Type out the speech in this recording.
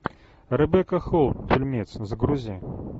ребекка холл фильмец загрузи